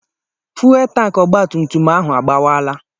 Fuwelu tanki ọgba tum tum ahụ agbọwaala